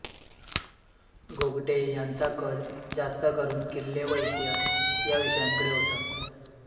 गोगटे यांचा कल जास्त करून किल्ले व इतिहास ह्या विषयांकडे होता